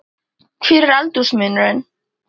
Hver er aldursmunurinn?